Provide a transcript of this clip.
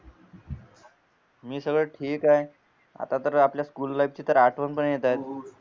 मी सगळं ठीक आहे आता तर आपल्या स्कूल लाईफ ची आठवण पण येत आहेत